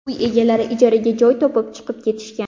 Uy egalari ijaraga joy topib chiqib ketishgan.